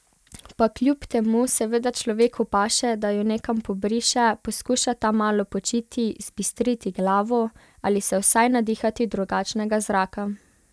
Pa kljub temu seveda človeku paše, da jo nekam pobriše, poskuša tam malo počiti, zbistriti glavo ali se vsaj nadihati drugačnega zraka.